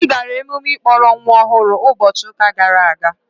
Ị gara emume ịkpọrọ nwa ọhụrụ ụbọchị ụka gara aga?